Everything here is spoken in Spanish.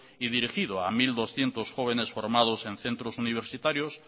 y dirigido a mil doscientos jóvenes formados en centros universitarios